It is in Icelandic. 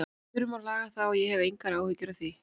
Við þurfum að laga það og ég hef engar áhyggjur af því.